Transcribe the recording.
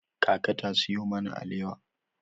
Kaka ta sayo mana alewa.